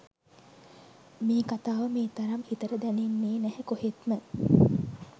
මේ කතාව මේ තරම් හිතට දැනෙන්නේ නැහැ කොහෙත්ම.